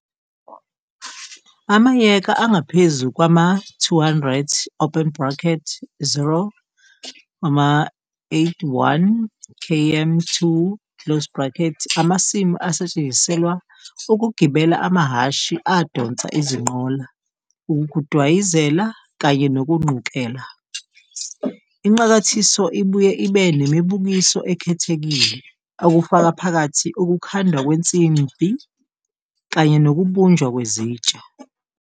Amayeka angaphezu kwama-200, 0.81 km2, amasimu asetshenziselwa ukugibela amahhashi adonsa izinqola, ukudwayizela, kanye nokuNqukela. Inqakathiso ibuye ibe nemibukiso ekhethekile, okufaka phakathi ukukhandwa kwensimbhi kanye nokubunjwa kwezitsha.